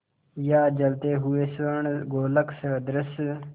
या जलते हुए स्वर्णगोलक सदृश